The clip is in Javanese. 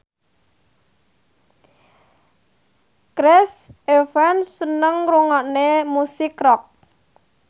Chris Evans seneng ngrungokne musik rock